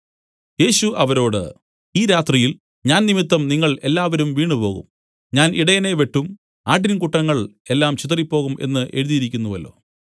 യേശു അവരോട് ഈ രാത്രിയിൽ ഞാൻ നിമിത്തം നിങ്ങൾ എല്ലാവരും വീണുപോകും ഞാൻ ഇടയനെ വെട്ടും ആട്ടിൻകൂട്ടങ്ങൾ എല്ലാം ചിതറിപ്പോകും എന്നു എഴുതിയിരിക്കുന്നുവല്ലോ